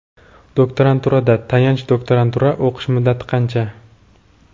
Doktoranturada (tayanch doktorantura) o‘qish muddati qancha?.